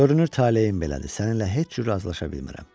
Görünür taleyim belədir, səninlə heç cür razılaşa bilmirəm.